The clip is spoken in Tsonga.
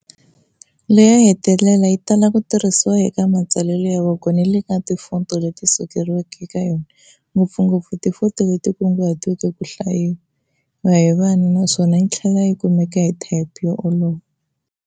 Leyo hetelela yi tala ku tirhisiwa eka matsalelo ya voko ni le ka tifonto leti sekeriweke eka yona, ngopfungopfu tifonto leti kunguhatiweke ku hlayiwa hi vana, naswona yi tlhela yi kumeka hi thayipi yo olova.